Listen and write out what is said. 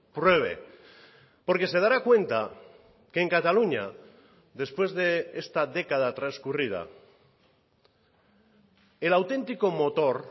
pruebe porque se dará cuenta que en cataluña después de esta década transcurrida el auténtico motor